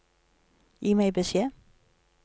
Gi meg beskjed